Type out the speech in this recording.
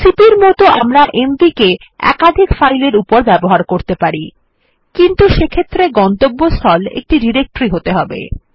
CP র মতন আমরা এমভি কে একাধিক ফাইল এর উপর ব্যবহার করতে পারি কিন্তু সেক্ষেত্রে গন্তব্যস্থল একটি ডিরেক্টরি হতে হবে